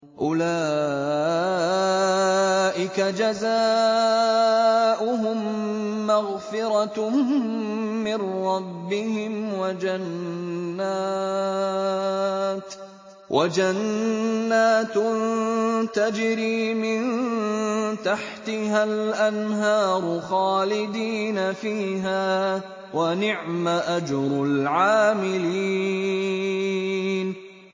أُولَٰئِكَ جَزَاؤُهُم مَّغْفِرَةٌ مِّن رَّبِّهِمْ وَجَنَّاتٌ تَجْرِي مِن تَحْتِهَا الْأَنْهَارُ خَالِدِينَ فِيهَا ۚ وَنِعْمَ أَجْرُ الْعَامِلِينَ